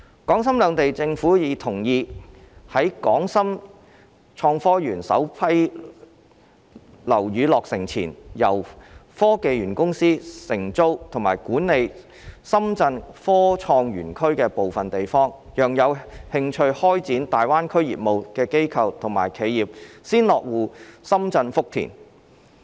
港深兩地政府已同意在港深創科園首批樓宇落成前，由科技園公司承租及管理深圳科創園區的部分地方，讓有興趣開展大灣區業務的機構和企業先落戶深圳福田。